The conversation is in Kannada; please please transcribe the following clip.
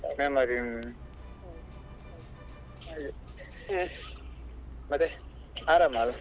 Memory ಹ್ಮ್ ಹಾಗೆ ಮತ್ತೆ ಆರಾಮ್ ಅಲ್ಲ.